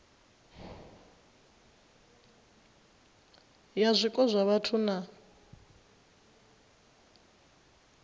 ya zwiko zwa vhathu na